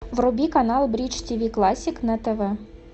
вруби канал бридж тиви классик на тв